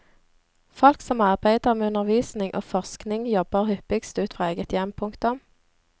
Folk som arbeider med undervisning og forskning jobber hyppigst ut fra eget hjem. punktum